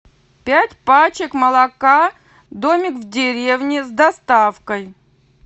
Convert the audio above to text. пять пачек молока домик в деревне с доставкой